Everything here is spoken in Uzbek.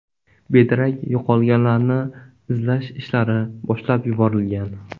Bedarak yo‘qolganlarni izlash ishlari boshlab yuborilgan.